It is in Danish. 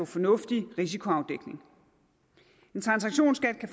fornuftig risikoafdækning en transaktionsskat kan